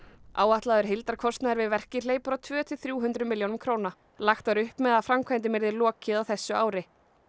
áætlaður heildarkostnaður við verkið hleypur á tvö til þrjú hundruð milljónum króna lagt var upp með að framkvæmdum yrði lokið á þessu ári